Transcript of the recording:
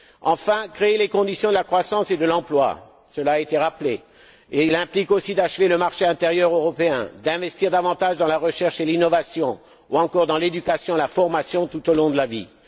Enfin, il faut créer les conditions de la croissance et de l'emploi, cela a été rappelé. Cela implique aussi d'achever le marché intérieur européen, d'investir davantage dans la recherche et l'innovation ou encore dans l'éducation et la formation tout au long de la vie.